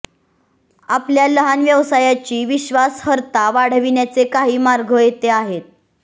आपल्या लहान व्यवसायाची विश्वासार्हता वाढविण्याचे काही मार्ग येथे आहेत